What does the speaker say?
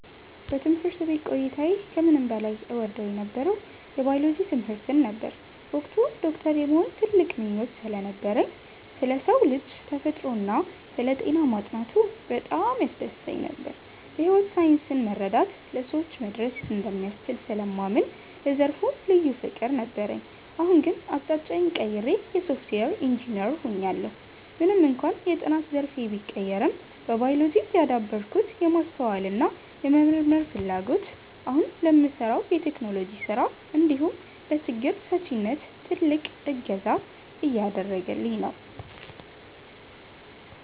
በትምህርት ቤት ቆይታዬ ከምንም በላይ እወደው የነበረው የባዮሎጂ ትምህርትን ነበር። በወቅቱ ዶክተር የመሆን ትልቅ ምኞት ስለነበረኝ፣ ስለ ሰው ልጅ ተፈጥሮና ስለ ጤና ማጥናቱ በጣም ያስደስተኝ ነበር። የሕይወት ሳይንስን መረዳት ለሰዎች መድረስ እንደሚያስችል ስለማምን ለዘርፉ ልዩ ፍቅር ነበረኝ። አሁን ግን አቅጣጫዬን ቀይሬ የሶፍትዌር ኢንጂነር ሆኛለሁ። ምንም እንኳን የጥናት ዘርፌ ቢቀየርም፣ በባዮሎጂ ያዳበርኩት የማስተዋልና የመመርመር ፍላጎት አሁን ለምሠራው የቴክኖሎጂ ሥራ እንዲሁም ለችግር ፈቺነት ትልቅ እገዛ እያደረገኝ ነው።